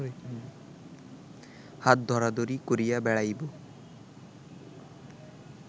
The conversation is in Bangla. হাত-ধরাধিরি করিয়া বেড়াইব